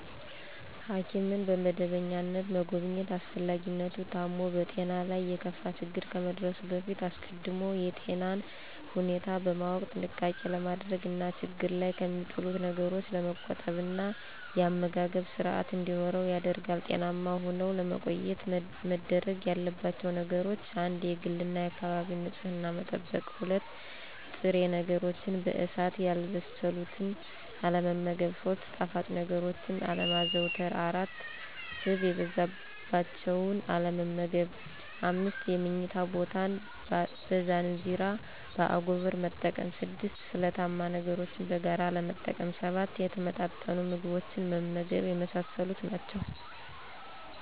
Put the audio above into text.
ሐኪምን በመደበኛነት መጎብኘት አስፈላጊነቱ ታሞ በጤናው ላይ የከፋ ችግር ከመድረሱ በፊት አስቀድሞ የጤናን ሁኔታ በማወቅ ጥንቃቄ ለማድረግ እና ችግር ላይ ከሚጥሉት ነገሮች ለመቆጠብ እና የአመጋገብ ስርአት እንዲኖር ያደርጋል። ጤናማ ሁነው ለመቆየት መደረግ ያለባቸው ነገሮች : 1-የግልና የአካባቢን ንጽህና መጠበቅ። 2-ጥሬ ነገሮችን በእሳት ያልበሰሉትን አለመመገብ። 3-ጣፋጭ ነገሮችን አለማዘውተር። 4-ስብ የበዛባቸውን አለመመገብ። 5-የምኝታ ቦታን በዛንዚራ (በአጎበር)መጠቀም። 6-ስለታማ ነገሮችን በጋራ አለመጠቀም። 7-የተመጣጠኑ ምግቦችን መመገብ የመሳሰሉት ናቸው።